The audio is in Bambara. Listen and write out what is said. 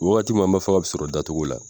Wagati min an b'a fɔ a bɛ sɔrɔ da cogo la.